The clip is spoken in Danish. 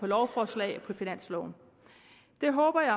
lovforslag og finansloven jeg håber